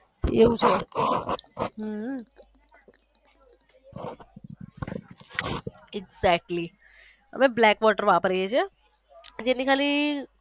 એવું છે હહ exatly અમે black water વાપરીએ છીએ જેની ખાલી.